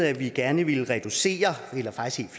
at vi gerne ville reducere eller faktisk